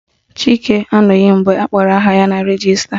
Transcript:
Chike anụghị mgbe akpọrọ aha ya na rejista